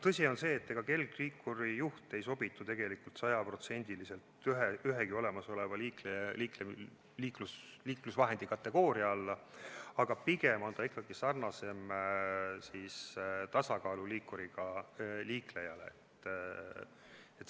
Tõsi on see, et kergliikuri juht ei sobitu sajaprotsendiliselt ühegi olemasoleva liiklusvahendi kategooria alla, aga pigem on ta ikkagi sarnasem tasakaaluliikuril liiklejaga.